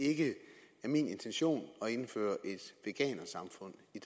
ikke er min intention at indføre et veganersamfund i